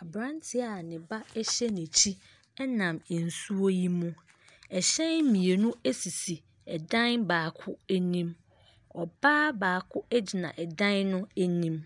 Aberanteɛ a ne ba hyɛ n'akyi nam nsuo yi mu. Hyɛn mmienu sisi dan baako anim. Ɔbaa baako gyina dan no anim.